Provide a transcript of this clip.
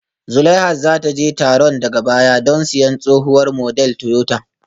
Zulaihat za ta je taron daga baya don siyan tsohuwar model Toyota